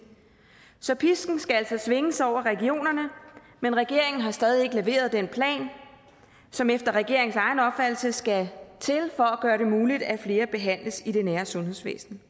så pisken skal altså svinges over regionerne men regeringen har stadig ikke leveret den plan som efter regeringens egen opfattelse skal til for at gøre det muligt at flere behandles i det nære sundhedsvæsen